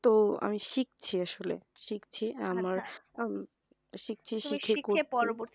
তো আমি শিখছি আসলে শিখছি আমার